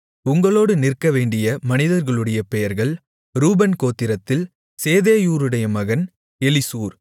உங்களோடு நிற்கவேண்டிய மனிதர்களுடைய பெயர்கள் ரூபன் கோத்திரத்தில் சேதேயூருடைய மகன் எலிசூர்